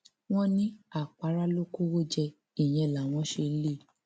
wọn ní àpárá ló kọwọ jẹ ìyẹn làwọn ṣe lé e